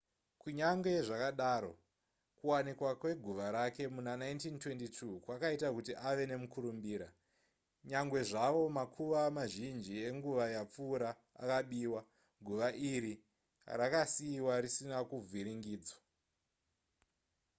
kunyange zvakadaro kuwanikwa kweguva rake muna1922 kwakaita kuti ave nemukurumbira nyangwe zvavo makuva mazhinji enguva rapfuura akabiwa guva iri rakasiiwa risina kuvhiringidzwa